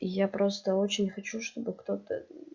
я просто очень хочу чтобы кто-то